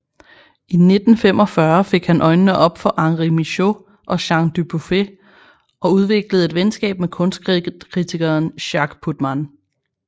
I 1945 fik han øjnene op for Henri Michaux og Jean Dubuffet og udviklede et venskab med kunstkritikeren Jacques Putman